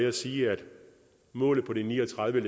at sige at målet på de ni og tredive